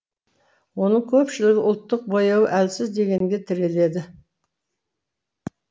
оның көпшілігі ұлттық бояуы әлсіз дегенге тіреледі